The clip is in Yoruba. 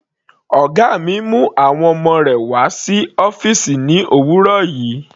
Ọ̀gá mi mú àwọn ọmọ rẹ̀ wá sí ọ́fìsì ní òwúrọ̀ yìí.